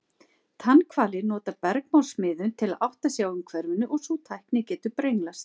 Tannhvalir nota bergmálsmiðun til að átta sig á umhverfinu og sú tækni getur brenglast.